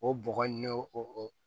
O bɔgɔ in n'o o o